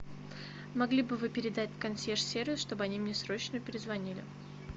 могли бы вы передать консьерж сервис чтобы они мне срочно перезвонили